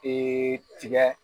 tigɛ.